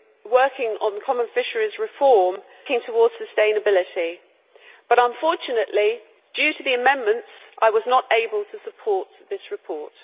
working on common fisheries policy reform towards sustainability, but unfortunately, due to the amendments, I was not able to support this report.